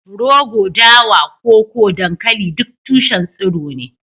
rogo, dawa, koko, dankali duk tushen tsiro ne